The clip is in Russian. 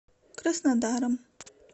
краснодаром